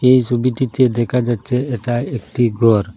এই ছবিটিতে দেখা যাচ্ছে এটা একটি ঘর।